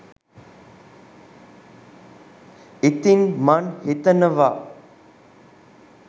ඉතින් මං හිතනවා